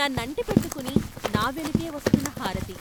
నన్నంటిపెట్టుకుని నా వెనకే వస్తున్న హారతి.